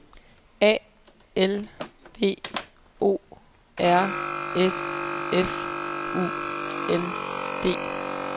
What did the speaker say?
A L V O R S F U L D